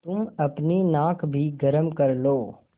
तुम अपनी नाक भी गरम कर लो